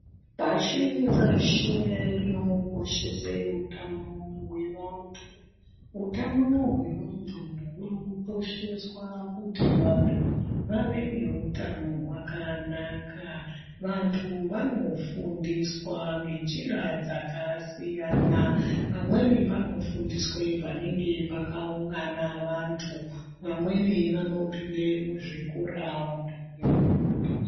Pashi reshe rinokoshesa utano hwevantu, utano hwevantu hunokosheswa kuti vantu vave nehutano hwanaka. Vantu vanofundiswa ngenjira dzakasiyana, pamweni panofundiswa panenge pakaungana vantu vamweni vanopinda muzvikora vantu veifundiswa.